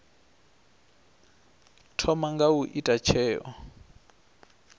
thoma nga u ita tsheo